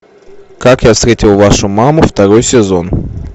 как я встретил вашу маму второй сезон